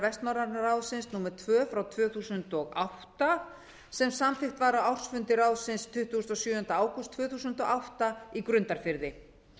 vestnorræna ráðsins númer tvö tvö þúsund og átta sem samþykkt var á ársfundi ráðsins tuttugasta og sjöunda ágúst tvö þúsund og átta í grundarfirði